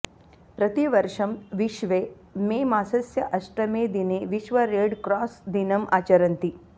प्रतिवर्षं विश्वे मेमासस्य अष्टमे दिने विश्व रेड्क्रास् दिनम् आचरन्ति